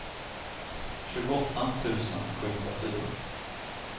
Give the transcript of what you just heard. tjugoåtta tusen sjuhundrafyra